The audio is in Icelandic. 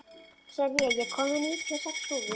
Senía, ég kom með níutíu og sex húfur!